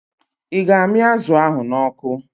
Ị ga-amị azụ ahụ n'ọkụ?